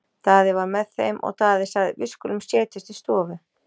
Daði var með þeim og Daði sagði:-Við skulum setjast í stofu.